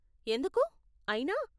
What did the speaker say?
ఎందుకు, అయినా?